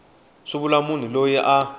swi vula munhu loyi a